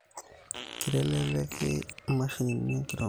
Kitelelek imashinini inkeremore